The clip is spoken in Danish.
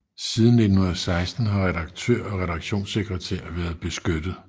Siden 1916 har redaktør og redaktionssekretær været beskyttet